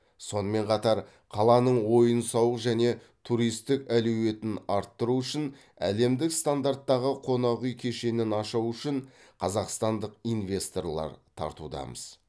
сонымен қатар қаланың ойын сауық және туристік әлеуетін арттыру үшін әлемдік стандарттағы қонақ үй кешенін ашу үшін қазақстандық инвесторлар тартудамыз